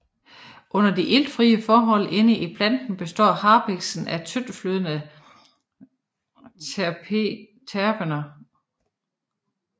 Under de iltfrie forhold inde i planten består harpikserne af tyndtflydende terpener